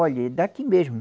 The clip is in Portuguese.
Olha, é daqui mesmo.